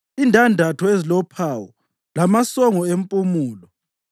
indandatho ezilophawu lamasongo empumulo,